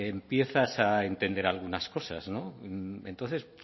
empiezas a entender algunas cosas no entonces